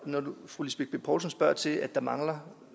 når fru lisbeth bech poulsen spørger til at der mangler